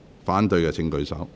反對的請舉手。